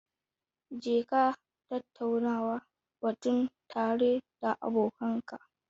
Jeka tattauna batun tare da abokanka.